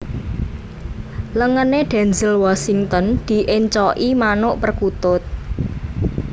Lengene Denzel Washington diencloki manuk perkutut